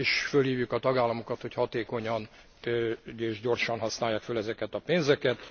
És fölhívjuk a tagállamokat, hogy hatékonyan és gyorsan használják föl ezeket a pénzeket.